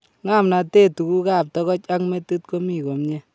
Ng'omnatet tuguk ab togoch ak metit ko mi komnyee